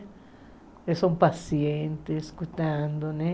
Eles são pacientes, escutando, né?